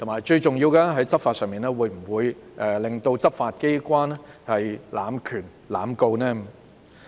最重要的是，在執法上會否讓執法機關濫權、濫告？